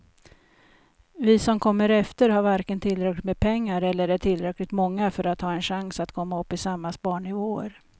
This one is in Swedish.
Vi som kommer efter har varken tillräckligt med pengar eller är tillräckligt många för att ha en chans att komma upp i samma sparnivåer.